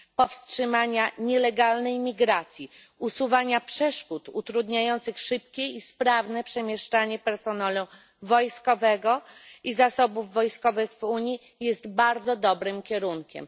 powstrzymania nielegalnej imigracji, usuwania przeszkód utrudniających szybkie i sprawne przemieszczanie personelu wojskowego i zasobów wojskowych w Unii jest bardzo dobrym kierunkiem.